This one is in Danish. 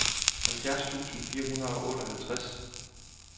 halvfjerds tusind fire hundrede og otteoghalvtreds